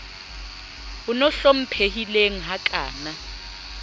on o hlomphehileng ha kana